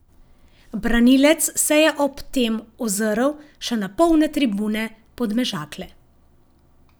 Branilec se je ob tem ozrl še na polne tribune Podmežakle.